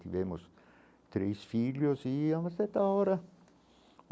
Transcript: Tivemos três filhos e há uma certa hora.